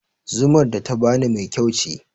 Zumar da ta bani mai kyau ce